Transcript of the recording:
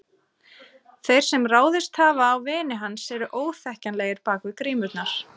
Þeir sem ráðist hafa á vini hans eru óþekkjanlegir bak við grímurnar.